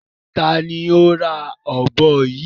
Ta ni ó ra ọ̀bọ yìí?